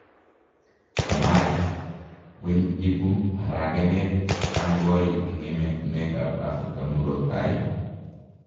Kamari: weny ibu aragenet tangoi en ematunwek ap Africa murotai?